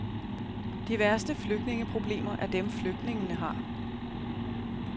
De værste flygtningeproblemer er dem, flygtningene har.